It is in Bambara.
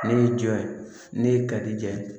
Ne y'i jɔ ye ne ye kalijɛ